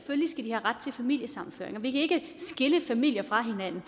familiesammenføring vi kan ikke skille familier fra hinanden